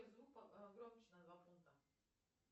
звук погромче на два пункта